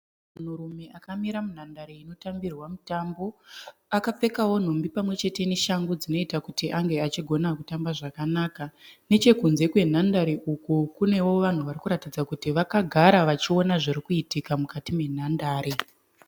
Munhurume akamira munhandare inotambirwa mutambo. Akapfekawo nhumbi pamwechete neshangu dzinoita kuti ange achigona kutamba zvakanaka. Nechekunze kwenhandare uko kunewo vanhu varikuratidza kuti vakagara vachiona zvirikuitika mukati menhandare.